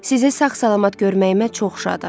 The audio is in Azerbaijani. Sizi sağ-salamat görməyimə çox şadam.